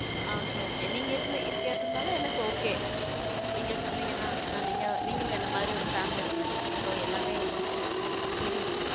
okay okay நீங்க இருந்~ இருக்குறதுனால எனக்கு okay நீங்க சொன்னீங்கன்னா, ஏன்னா நீங்க~ நீங்களும் என்னை மாதிரி ஒரு family women தான் so எல்லாமே உங்களுக்கும் தெரியும்.